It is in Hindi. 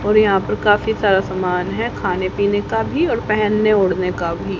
और यहां पर काफी सारा समान है खाने पीने का भी और पहनने ओढ़ने का भी।